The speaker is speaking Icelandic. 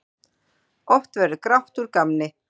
Oft verður grátt úr gamni.